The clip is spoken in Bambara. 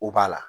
O b'a la